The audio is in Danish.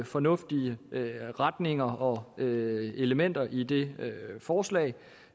fornuftige retninger og elementer i det forslag